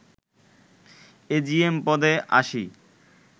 AGM পদে ৮০